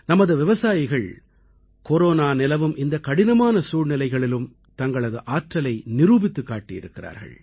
நமது விவசாயிகள் கொரோனா நிலவும் இந்தக் கடினமான சூழ்நிலைகளிலும் தங்களது ஆற்றலை நிரூபித்துக் காட்டியிருக்கிறார்கள்